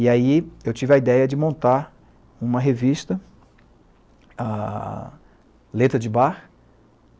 E aí eu tive a ideia de montar uma revista, a letra de Bach,